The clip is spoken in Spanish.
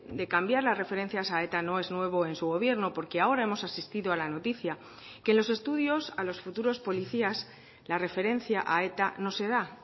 de cambiar las referencias a eta no es nuevo en su gobierno porque ahora hemos asistido a la noticia que los estudios a los futuros policías la referencia a eta no se da